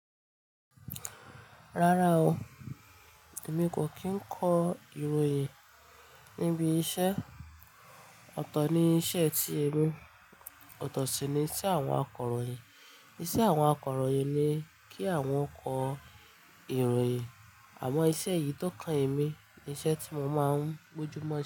Rárá o, èmi kò kí ń kọ ìròyìn níbi iṣẹ́. Ọ̀tọ̀ ni iṣẹ́ tí èmi, ọ̀tọ̀ sì ni iṣẹ́ àwọn akọ̀ròyìn. Iṣẹ́ àwọn akọ̀ròyìn le kí àwọn kọ ìròyìn àmọ́ iṣẹ́ yìí tó kan èmi ni iṣẹ́ tí mo máa ń mójú mọ́-